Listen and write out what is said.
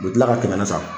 U bɛ tila ka kɛmɛ sara